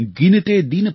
पथ निहारते नयन